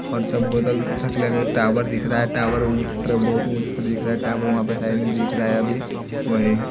और सब बोतल ग टावर दिख रहा है टावर ऊंच पर बहुत ऊंच प दिख रहा है टावर वहां पे साइड में दिख रहा है अभी --